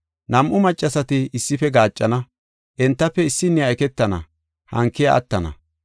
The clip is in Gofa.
Nam7u maccasati issife gaaccana. Entafe issiniya eketana hankiya attana.